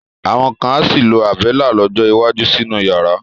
Àwọn kan á sì lo Àbẹ́lá lọ́jọ́ iwájú sínú yàrá.